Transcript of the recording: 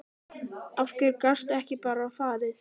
Af hverju gastu ekki bara farið?